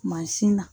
Mansin na